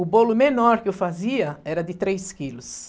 O bolo menor que eu fazia era de três quilos.